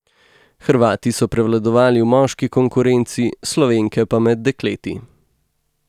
Hrvati so prevladovali v moški konkurenci, Slovenke pa med dekleti.